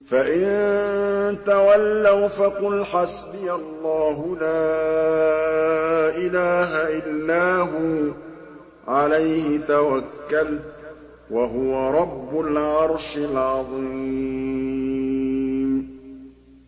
فَإِن تَوَلَّوْا فَقُلْ حَسْبِيَ اللَّهُ لَا إِلَٰهَ إِلَّا هُوَ ۖ عَلَيْهِ تَوَكَّلْتُ ۖ وَهُوَ رَبُّ الْعَرْشِ الْعَظِيمِ